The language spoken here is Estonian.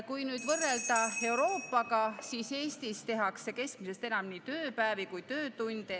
Euroopaga võrreldes tehakse Eestis keskmisest enam nii tööpäevi kui ka töötunde ehk meie inimesed ...